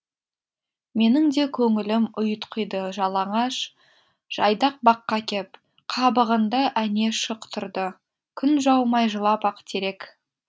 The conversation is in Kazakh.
менің де көңілім ұйтқиды жалаңаш жайдақ баққа кеп қабығында әне шық тұрды күн жаумай жылап ақ терек